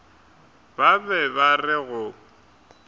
ba be ba re go